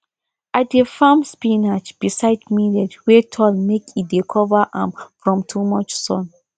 i dey farm spinach beside millet wey tall make e dey cover am from too much sun